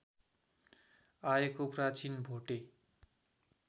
आएको प्राचीन भोटे